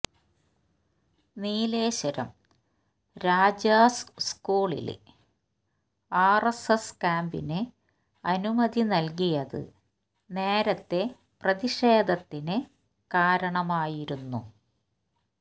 നീലേശ്വരം രാജാസ് സ്കൂളില് ആര്എസ്എസ് ക്യാമ്പിന് അനുമതി നല്കിയത് നേരത്തെ പ്രതിഷേധത്തിന് കാരണമായിരുന്നു